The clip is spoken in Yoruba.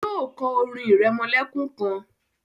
yíò kọ orin iremolekun kán.